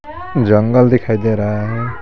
जंगल दिखाई दे रहा है.